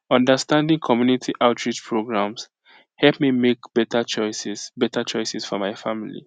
understanding community outreach programs help me make better choices better choices for my family